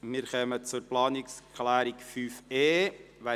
Wir kommen zur Planungserklärung 5.e.